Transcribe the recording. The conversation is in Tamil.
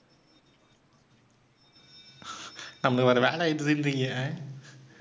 அந்த ஒரு வேலை இருக்குதுன்றீங்க?